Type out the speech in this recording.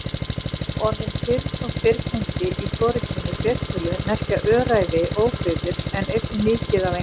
Orðin firn og firnindi í hvorugkyni fleirtölu merkja öræfi, óbyggðir en einnig mikið af einhverju.